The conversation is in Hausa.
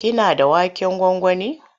Kina da waken gwangwani?